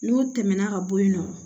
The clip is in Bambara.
N'u tɛmɛna ka bɔ yen nɔ